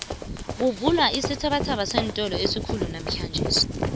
kuvulwa isithabathaba seentolo esikhulu namhlanje